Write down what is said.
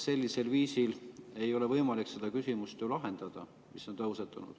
Sellisel viisil ei ole võimalik lahendada seda küsimust, mis on tõusetunud.